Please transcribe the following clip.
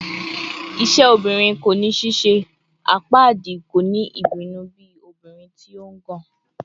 "Iṣẹ obirin ko ni ṣiṣe," "Apaadi ko ni ibinu bi obirin ti o ngàn," ati